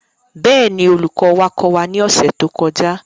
Bẹ́ẹ̀ ni, olùkọ́ wa kọ́ wa ní ọ̀sẹ̀ tó kọjá.